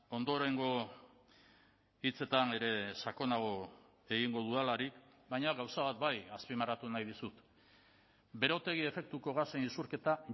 ondorengo hitzetan ere sakonago egingo dudalarik baina gauza bat bai azpimarratu nahi dizut berotegi efektuko gasen isurketa